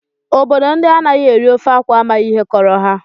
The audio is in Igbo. Obodo ndị anaghị eri ofe akwụ amaghị ihe kọrọ ha